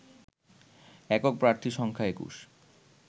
একক প্রার্থী সংখ্যা ২১